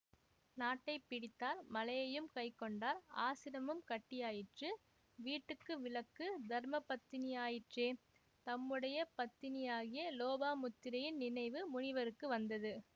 நாட்டை பிடித்தார் மலையையும் கைக்கொண்டார் ஆசிரமமும் கட்டியாயிற்று வீட்டுக்கு விளக்கு தர்மபத்தினியாயிற்றே தம்முடைய பத்தினியாகிய லோபாமுத்திரையின் நினைவு முனிவருக்கு வந்தது